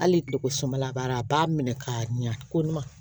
Hali tileko sɔnbala b'a la a b'a minɛ k'a ɲɛ ko ɲuman